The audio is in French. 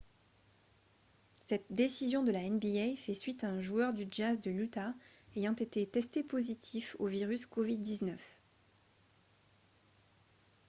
cette décision de la nba fait suite à un joueur du jazz de l'utah ayant été testé positif au virus covid-19